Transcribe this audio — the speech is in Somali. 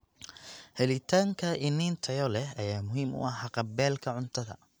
Helitaanka iniin tayo leh ayaa muhiim u ah haqab-beelka cuntada.